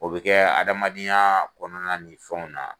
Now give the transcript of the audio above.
O bɛ kɛ adamadenya kɔnɔna ni fɛnw na.